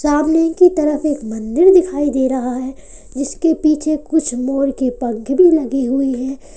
सामने की तरफ एक मंदिर दिखाई दे रहा है जिसके पीछे कुछ मोर के पंख भी लगे हुए हैं।